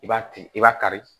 I b'a tigi i b'a kari